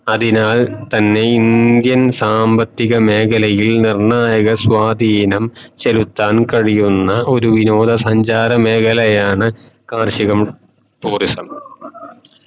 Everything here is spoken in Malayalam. അതിനാൽ തന്നെ indian സംമ്പത്തിക മേഖലയിൽ നിർണ്ണായക സ്വാധീനം ചെലുത്താൻ കഴിയുന്ന ഒരു വിനോദ സഞ്ചാര മേഖലയാണ് കാർഷികം tourism